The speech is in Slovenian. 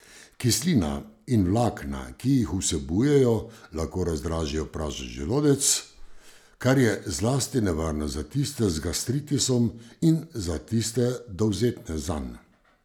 Kislina in vlakna, ki jih vsebujejo, lahko razdražijo prazen želodec, kar je zlasti nevarno za tiste z gastritisom in za tiste, dovzetne zanj.